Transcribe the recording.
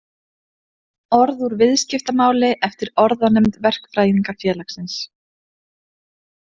Orð úr viðskiptamáli eftir Orðanefnd Verkfræðingafjelagsins.